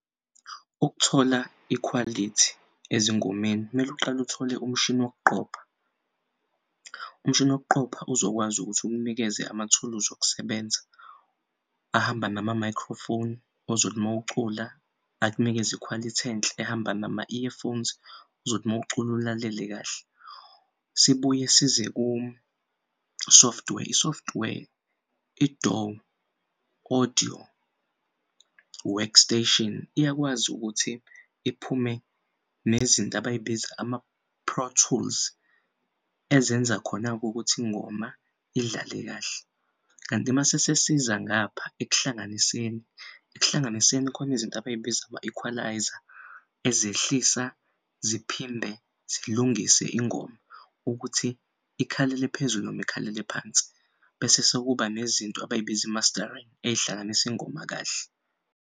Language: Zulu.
Ukuthola ikhwalithi ezingomeni mel'uqale uthole umshini wokuqopha. Umshini wokuqopha uzokwazi ukuthi ukunikeze amathuluzi okusebenza ahamba nama-microphone ozothi mawucula ak'nikeze ikhwalithi enhle ehamba nama-earphones ozothi mawucul'ulalele kahle. Sibuye size ku-software, i-software i-DAW, Audio Workstation iyakwazi ukuthi iphume nezinto abayibiza ama-Pro Tools ezenza khona'kukuthi ingoma idlale kahle kanti masesesiza ngapha ekuhlanganiseni, ekuhlanganiseni khona izinto abayibiza ama-equaliser ezehlisa ziphinde zilungise ingoma ukuthi ikhalele phezulu noma ikhalele phansi. Bese sekuba nezinto abayibiza i-mastering ey'hlanganis' ingoma kahle.